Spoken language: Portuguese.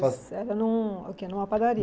Era num o quê, numa padaria?